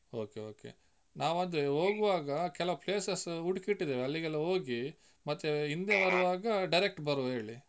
Okay okay ನಾವು ಅದೇ ಹೋಗುವಾಗ, ಕೆಲವ್ places ಹುಡುಕಿ ಇಟ್ಟಿದ್ದೇವೆ ಅಲ್ಲಿಗೆಲ್ಲ ಹೋಗಿ, ಮತ್ತೆ ಹಿಂದೆ ಬರುವಾಗ direct ಬರುವ ಹೇಳಿ.